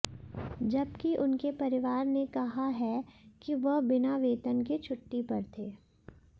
जबकि उनके परिवार ने कहा है कि वह बिना वेतन के छुट्टी पर थे